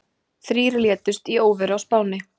Þrír létust í óveðri á Spáni